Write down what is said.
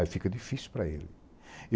Aí fica difícil para ele.